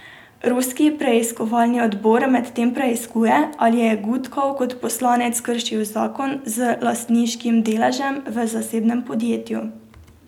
Ruski preiskovalni odbor medtem preiskuje, ali je Gudkov kot poslanec kršil zakon z lastniškim deležem v zasebnem podjetju.